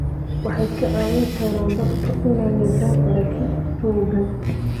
Waxay ka caawin karaan dadka inay yeeshaan aragti togan.